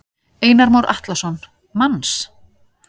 Einar Már Atlason: Manns?